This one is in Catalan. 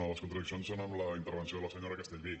no les contradiccions són amb la intervenció de la senyora castellví